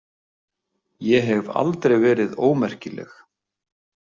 Ég hef aldrei verið ómerkileg.